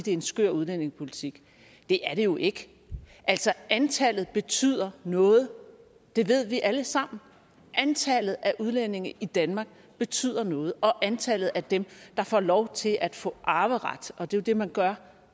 en skør udlændingepolitik det er det jo ikke altså antallet betyder noget det ved vi alle sammen antallet af udlændinge i danmark betyder noget og antallet af dem der får lov til at få arveret og det er jo det man gør